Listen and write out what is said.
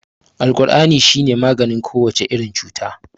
Alkur'ani shi ne maganin kowace irin cuta.